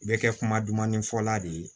Bɛ kɛ kuma dumanin fɔla de ye